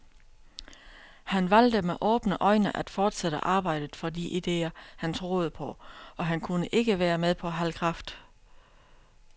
Han valgte med åbne øjne at fortsætte arbejdet for de idéer, han troede på, og han kunne ikke være med på halv kraft.